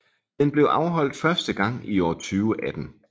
Den blev afholdt første gang i år 2018